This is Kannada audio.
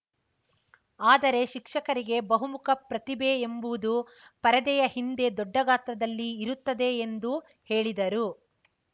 ಆದರೆ ಶಿಕ್ಷಕರಿಗೆ ಬಹುಮುಖ ಪ್ರತಿಭೆ ಎಂಬುವುದು ಪರದೆಯ ಹಿಂದೆ ದೊಡ್ಡ ಗಾತ್ರದಲ್ಲಿ ಇರುತ್ತದೆ ಎಂದು ಹೇಳಿದರು